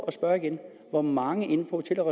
at spørge igen hvor mange inden for hotel og